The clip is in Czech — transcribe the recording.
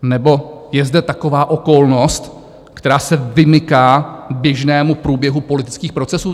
Nebo je zde taková okolnost, která se vymyká běžnému průběhu politických procesů?